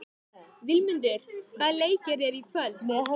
Vilmundur, hvaða leikir eru í kvöld?